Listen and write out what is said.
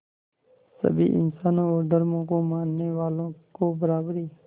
सभी इंसानों और धर्मों को मानने वालों को बराबरी